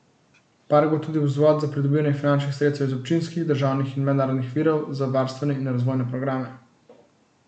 Park bo tudi vzvod za pridobivanje finančnih sredstev iz občinskih, državnih in mednarodnih virov za varstvene in razvojne programe.